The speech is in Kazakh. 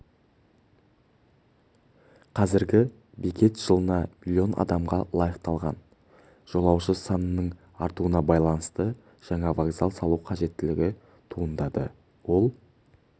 қазіргі бекет жылына миллион адамға лайықталған жолаушы санының артуына байланысты жаңа вокзал салу қажеттілігі туындады ол